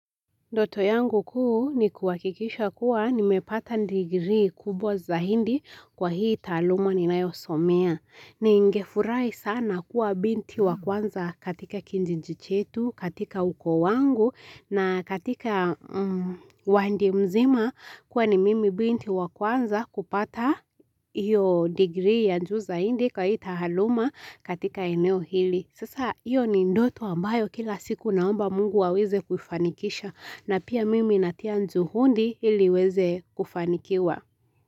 Ndoto yangu kuu ni kuhakikisha kuwa nimepata degree kubwa zaidi kwa hii tahaluma ni nanayosomea. Ningefurahi sana kuwa binti wa kwanza katika kijiji chetu, katika ukoo wangu na katika wadi mzima kuwa ni mimi binti wa kwanza kupata hiyo degree ya juu zaidii kwa hii tahaluma katika eneo hili. Sasa hiyo ni ndoto ambayo kila siku ninaomba mungu aweze kufanikisha na pia mimi natia juhundi ili iweze kufanikiwa.